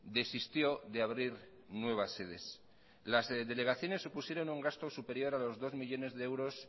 desistió de abrir nuevas sedes las delegaciones supusieron un gasto superior a los dos millónes de euros